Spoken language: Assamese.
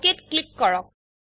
OKত ক্লিক কৰক